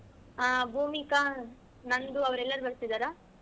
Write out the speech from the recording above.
ಹಾ ಭೂಮಿಕಾ ನಂದು ಅವರೆಲ್ಲರೂ ಬರ್ತಿದ್ದಾರ?